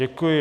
Děkuji.